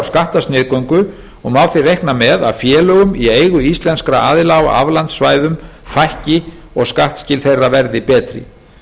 skattasniðgöngu og má því reikna með að félögum í eigu íslenskra aðila á aflandssvæðum fækki og skattskil þeirra verði betri